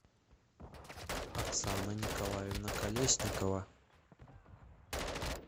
оксана николаевна колесникова